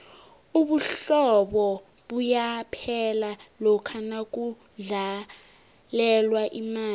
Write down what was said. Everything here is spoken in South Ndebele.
ubuhlobo buyaphela lokha nakudlalelwa imali